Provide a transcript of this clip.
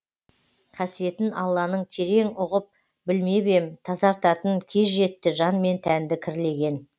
қасиетін алланың терең ұғып білмеп ем тазартатын кез жетті жан мен тәнді кірлеген